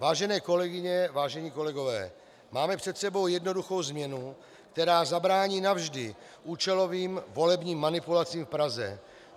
Vážené kolegyně, vážení kolegové, máme před sebou jednoduchou změnu, která zabrání navždy účelovým volebním manipulacím v Praze.